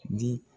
Di